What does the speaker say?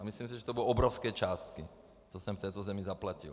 A myslím si, že to budou obrovské částky, co jsem v této zemi zaplatil.